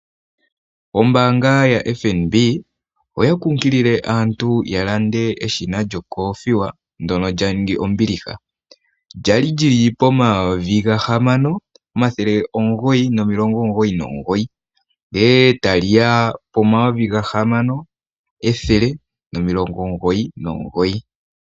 Ombaanga yaFnb oya kunkilile aantu yalande eshina lyokoothiwa ndono leaning ombiliha kwali lili pomayovi gahama omathele omugoyi nomilongo omugoyi nomugoyi ndee tali ya pomayovi gahamano ethele nomilongo omugoyi nomugoyi.